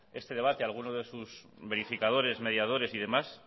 este debate alguno de sus verificadores mediadores y demás